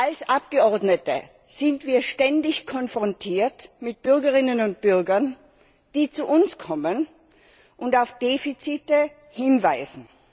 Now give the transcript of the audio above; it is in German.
Als Abgeordnete sind wir ständig konfrontiert mit Bürgerinnen und Bürgern, die zu uns kommen und auf Defizite hinweisen.